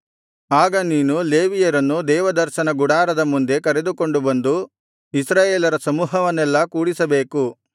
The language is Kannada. ಆಗ ನೀನು ಲೇವಿಯರನ್ನು ದೇವದರ್ಶನ ಗುಡಾರದ ಮುಂದೆ ಕರೆದುಕೊಂಡು ಬಂದು ಇಸ್ರಾಯೇಲರ ಸಮೂಹವನ್ನೆಲ್ಲಾ ಕೂಡಿಸಬೇಕು